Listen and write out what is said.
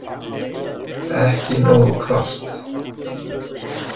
Ekki nógu hvasst